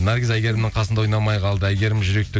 наргиз әйгерімнің қасында ойнамай қалды әйгерім жүректі